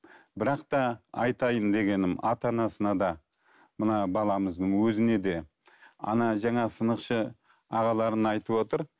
бірақ та айтайын дегенім ата анасына да мына баламыздың өзіне де ана жаңағы сынықшы ағаларың айтып отыр